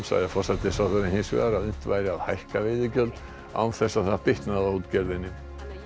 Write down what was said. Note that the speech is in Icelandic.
sagði forsætisráðherra hins vegar að unnt væri að hækka veiðigjöld án þess að það bitnaði á útgerðinni